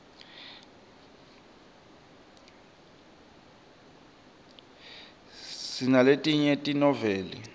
sinaletinye tenoveli